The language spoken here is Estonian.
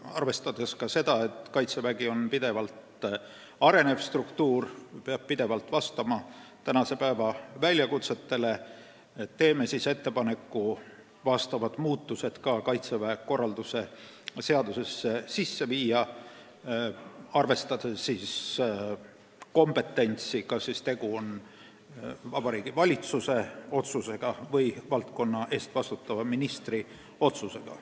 Arvestades, et Kaitsevägi on pidevalt arenev struktuur ja peab pidevalt vastama tänapäeva nõuetele, teeme ettepaneku teha vastavad muudatused ka Kaitseväe korralduse seadusesse, arvestades kompetentsi, kas tegu on Vabariigi Valitsuse otsusega või valdkonna eest vastutava ministri otsusega.